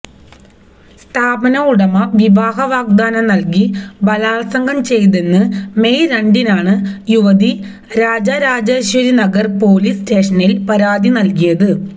സ്ഥാപന ഉടമ വിവാഹവാഗ്ദാനം നൽകി ബലാത്സംഗം ചെയ്തെന്ന് മെയ് രണ്ടിനാണ് യുവതി രാജരാജേശ്വരിനഗർ പൊലീസ് സ്റ്റേഷനിൽ പരാതി നൽകിയത്